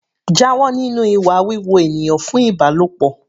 Jáwọ́ nínú ìwà wíwo ènìyàn fún Ìbálòpọ̀.